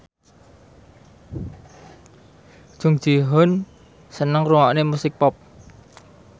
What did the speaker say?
Jung Ji Hoon seneng ngrungokne musik pop